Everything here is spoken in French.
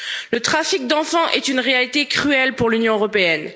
Le trafic d'enfants est une réalité cruelle pour l'Union européenne.